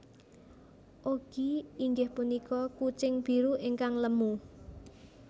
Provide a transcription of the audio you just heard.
Oggy inggih punika kucing biru ingkang lemu